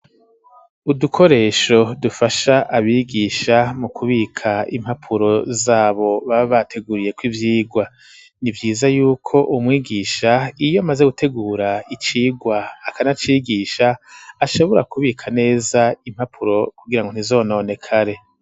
Udukoresho dufasha abigisha mu kubika impapuro zabo baba bateguriyeko ivyigwa ni vyiza yuko umwigisha iyo, maze gutegura icigwa akanacigisha ashobora kubika neza impapuro kugira ngo ntizononek are.